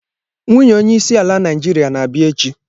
Nwunye onye isi ala Naijiria na-abia echi.